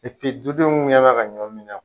dudenw mɛn ka ɲɔn min na